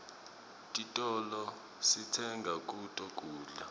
titolo sitsenga kuto kudla